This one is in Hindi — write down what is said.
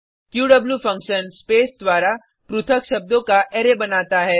क्यू फंक्शन स्पेस द्वारा पृथक शब्दों का अरै बनाता है